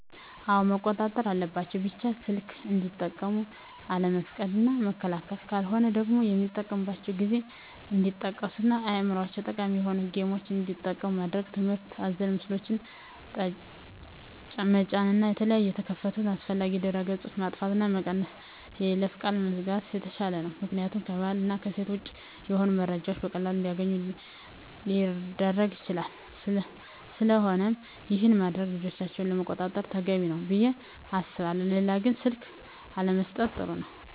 አወ መቆጣጠር አለባቸው ቢቻል ሰልክ እንዲጠቀሙ አለመፍቀድ እና መከልከል ካለሆነ ደግሞ የሚጠቀሚበትን ጊዜ እንዲቀንሡ እና ለአዕምሮቸው ጠቃሚ የሆኑ ጌምችን እንዲጠቀሙ ማድረግ ትምህርት አዘል ምስሎችን ጠጫን እና የተለያየ የተከፈቱ አላስፈላጊ ድህረ ገፆች ማጥፍት እና መቀነስ በይለፈ ቃል መዝጋት የተሻለ ነው ምክኒያቱም ከባህል እና እሴት ወጭ የሆኑ መረጃዎችን በቀላሉ እንዲገኙ ሊረግ ይችላል ስለቆነም ይሄን በማድረግ ልጆቻቸውን መቆጣጠር ተገቢ ነው። ብየ አስባለሁ ሌላው ግን ስልክ አለመሠጠት ጥሩ ነው